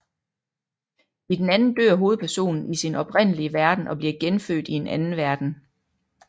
I den anden dør hovedpersonen i sin oprindelige verden og bliver genfødt i en anden verden